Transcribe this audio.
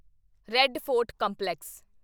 red Fort complex